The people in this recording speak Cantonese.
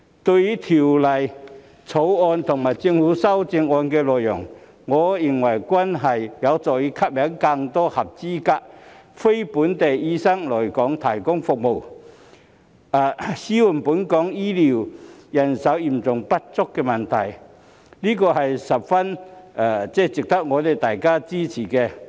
對於《條例草案》和政府的修正案的內容，我認為均有助吸引更多合資格非本地醫生來港提供服務，紓緩本港醫療人手嚴重不足的問題，十分值得大家支持。